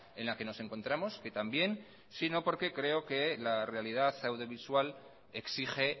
en la que nos encontramos que también sino porque creo que la realidad audiovisual exige